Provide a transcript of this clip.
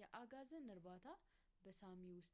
የአጋዘን እርባታ በሳሚ ውስጥ